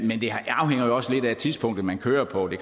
men det afhænger jo også lidt af tidspunktet man kører på det